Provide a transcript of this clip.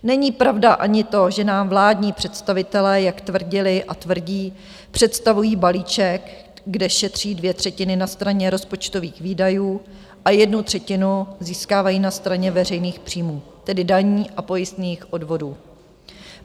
Není pravda ani to, že nám vládní představitelé, jak tvrdili a tvrdí, představují balíček, kde šetří dvě třetiny na straně rozpočtových výdajů a jednu třetinu získávají na straně veřejných příjmů, tedy daní a pojistných odvodů.